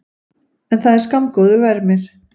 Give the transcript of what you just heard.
En það var skammgóður vermir.